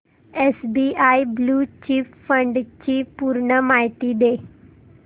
SBI blue chip fund ची पूर्ण माहिती दे